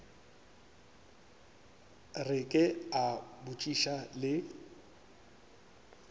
re ke a botšiša le